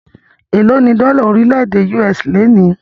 Élo ní dọ́là orílẹ̀-èdè US lónìí?